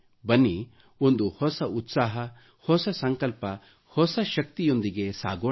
ಬನ್ನಿ ಒಂದು ಹೊಸ ಉತ್ಸಾಹ ಹೊಸ ಸಂಕಲ್ಪ ಹೊಸ ಶಕ್ತಿಯೊಂದಿಗೆ ಸಾಗೋಣ